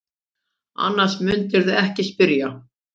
Annars mundirðu ekki spyrja.